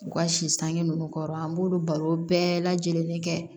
U ka si sange ninnu kɔrɔ an b'olu baro bɛɛ lajɛlen kɛ